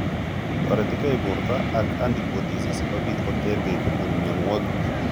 Toretigei bprto ak antibodies sikobit kotergei kobun mionwogik